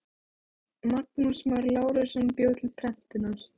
Magnús Már Lárusson bjó til prentunar.